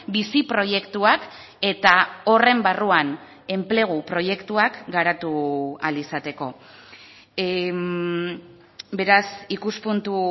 bizi proiektuak eta horren barruan enplegu proiektuak garatu ahal izateko beraz ikuspuntu